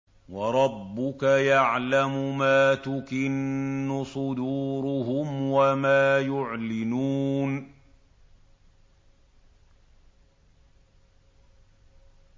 وَرَبُّكَ يَعْلَمُ مَا تُكِنُّ صُدُورُهُمْ وَمَا يُعْلِنُونَ